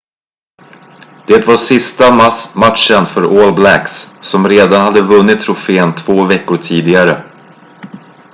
det var sista matchen för all blacks som redan hade vunnit trofén två veckor tidigare